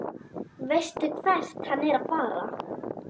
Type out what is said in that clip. Veistu hvert hann er að fara?